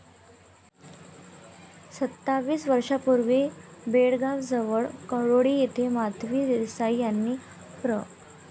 सत्तावीस वर्षांपूर्वी बेळगावजवळ कडोळी येथे माधवी देसाई यांनी प्र.